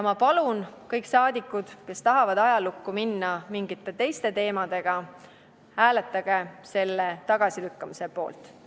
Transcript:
Ma palun, kõik saadikud, kes tahavad ajalukku minna mingite teiste teemadega, hääletage selle tagasilükkamise poolt!